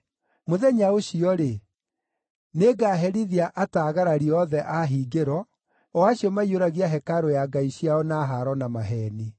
Mũthenya ũcio-rĩ, nĩngaherithia ataagarari othe a hingĩro, o acio maiyũragia hekarũ ya ngai ciao na haaro na maheeni.”